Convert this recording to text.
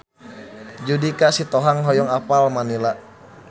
Judika Sitohang hoyong apal Manila